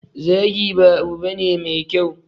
Zagi ba abu bane me kyau.